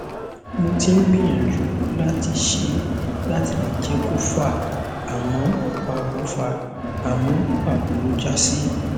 mo ti ń gbìyàjú láti ṣe láti lè jẹ kó fà àmọ pàbó fà àmọ pàbó ló já sí